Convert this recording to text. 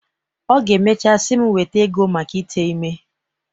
Ọ ga-emechaa sị m weta ego mak ite ime.